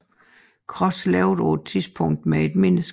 Cross levede på et tidspunkt med et menneske